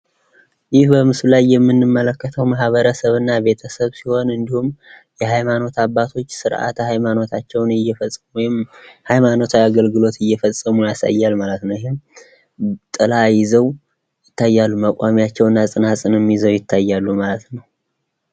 ይህ በምስሉ ላይ የምንመለከተው ማህበረሰብና ቤተሰብ ሲሆን እንዲሁም የሃይማኖት አባቶች ስርዓተ ሃይማኖታቸውን እየፈጸሙ ወይም ሃይማኖታዊ አገልግሎት እየፈጸሙ ያሳያል ማለት ነው። ጥላ ይዘው ይታያል መቋሚያቸው ጽናጽንም ይዘው ይታያሉ ማለት ነው።